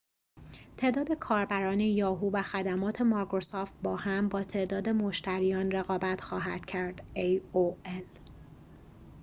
تعداد کاربران یاهو و خدمات مایکروسافت باهم با تعداد مشتریان aol رقابت خواهد کرد